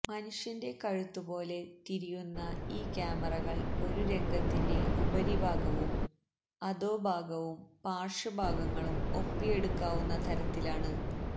മനുഷ്യന്റെ കഴുത്തു പോലെ തിരിയുന്ന ഈ ക്യാമറകള് ഒരു രംഗത്തിന്റെ ഉപരിഭാഗവും അധോഭാഗവും പാര്ശ്വഭാഗങ്ങളും ഒപ്പിയെടുക്കാവുന്ന തരത്തിലാണ്